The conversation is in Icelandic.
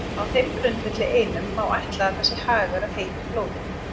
Á þeim grundvelli einum má ætla að það sé hagur að heitu blóði.